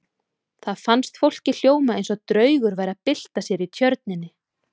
Það fannst fólki hljóma eins og draugur væri að bylta sér í tjörninni.